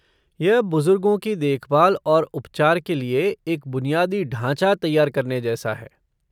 यह बुजुर्गों की देखभाल और उपचार के लिए एक बुनियादी ढाँचा तैयार करने जैसा है।